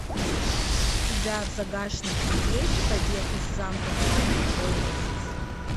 у тебя в загашнике есть побег из замка колдиц